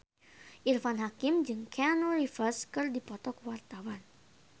Irfan Hakim jeung Keanu Reeves keur dipoto ku wartawan